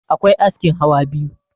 akwai askin hawa biyu